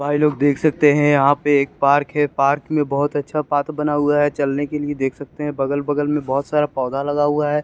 भाई लोग देख सकते है यहाँ पे एक पार्क है पार्क में बहोत अच्छा पाथ बना हुआ है चलने के लिए देख सकते है बगल बगल मे बहोत सारा पौधा लगा हुआ है।